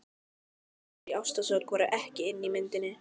Stelpur í ástarsorg voru ekki inni í myndinni.